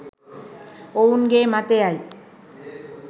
ඔවුන්ගේ මතය යි